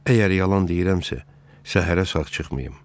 Əgər yalan deyirəmsə, səhərə sağ çıxmayım.